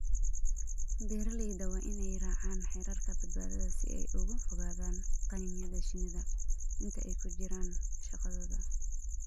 Beeralayda waa inay raacaan xeerarka badbaadada si ay uga fogaadaan qaniinyada shinnida inta ay ku jiraan shaqadooda.